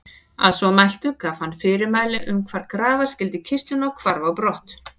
Að svo mæltu gaf hann fyrirmæli um hvar grafa skyldi kistuna og hvarf á brott.